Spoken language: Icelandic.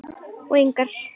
Og engan.